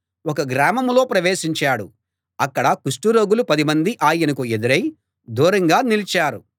ఒక గ్రామంలో ప్రవేశించాడు అక్కడ కుష్టు రోగులు పదిమంది ఆయనకు ఎదురై దూరంగా నిలిచారు